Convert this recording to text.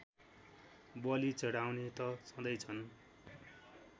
बलि चढाउने त छँदैछन्